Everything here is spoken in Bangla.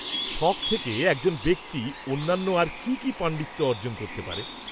-শখ থেকে এজকন ব্যক্তি অন্যান্য আর কী কী পাণ্ডিত্য অর্জন করতে পারে?